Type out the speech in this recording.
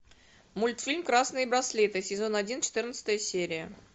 мультфильм красные браслеты сезон один четырнадцатая серия